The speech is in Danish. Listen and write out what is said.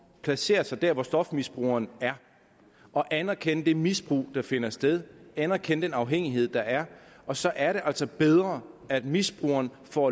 placere sig der hvor stofmisbrugeren er og anerkende det misbrug der finder sted anerkende den afhængighed der er og så er det altså bedre at misbrugeren får